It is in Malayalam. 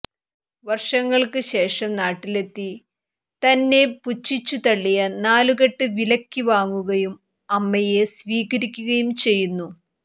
വർഷങ്ങൾക്ക് ശേഷം നാട്ടിലെത്തി തന്നെ പുച്ഛിച്ചു തള്ളിയ നാലുകെട്ട് വിലയ്ക്ക് വാങ്ങുകയും അമ്മയെ സ്വീകരിക്കുകയും ചെയ്യുന്നു